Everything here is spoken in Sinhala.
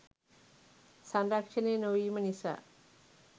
සංරක්‍ෂණය නොවීම නිසා